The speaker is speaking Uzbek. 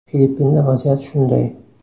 Filippinda vaziyat shunday.